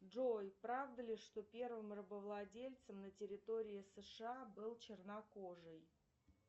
джой правда ли что первым рабовладельцем на территории сша был чернокожий